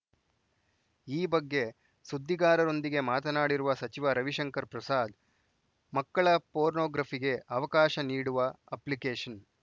ಈ ಬಗ್ಗೆ ಸುದ್ದಿಗಾರರೊಂದಿಗೆ ಮಾತನಾಡಿರುವ ಸಚಿವ ರವಿಶಂಕರ್‌ ಪ್ರಸಾದ್‌ ಮಕ್ಕಳ ಪೋರ್ನೋಗ್ರಫಿಗೆ ಅವಕಾಶ ನೀಡುವ ಅಪ್ಲಿಕೇಶನ್‌